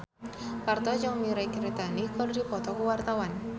Parto jeung Mirei Kiritani keur dipoto ku wartawan